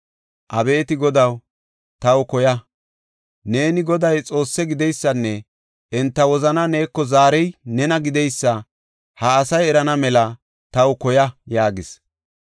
Abeeti Godaw, taw koya. Neeni, Goday Xoosse gideysanne enta wozanaa neeko zaarey nena gideysa ha asay erana mela taw koya!” yaagis.